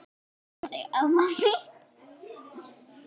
Elska þig amma mín.